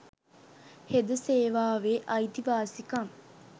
හෙද සේවාවේ අයිතිවාසිකම්